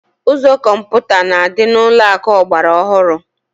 Ụzọ kọmputa na-adị n'ụlọakụ ọgbara ọhụrụ